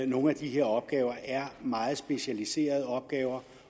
nogle af de her opgaver er meget specialiserede opgaver